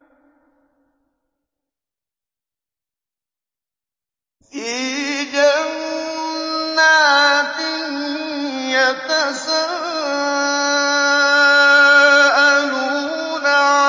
فِي جَنَّاتٍ يَتَسَاءَلُونَ